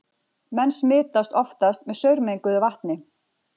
Menn smitast oftast með saurmenguðu vatni.